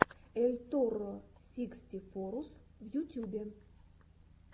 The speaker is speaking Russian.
эльторросикстифоррус в ютюбе